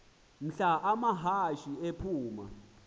mhla amahashe aphuma